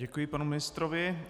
Děkuji panu ministrovi.